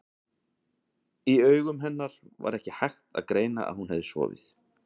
Á augum hennar var ekki hægt að greina að hún hefði sofið.